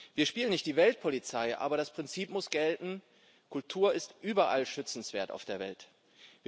Wir spielen nicht die Weltpolizei, aber das Prinzip muss gelten Kultur ist überall auf der Welt schützenswert.